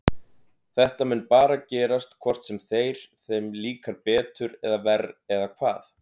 Þetta mun bara gerast hvort sem þeir, þeim líkar betur eða verr eða hvað?